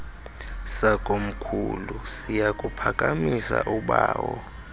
sakomkhulu siyakuphakamisa ubawo